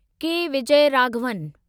के विजयराघवन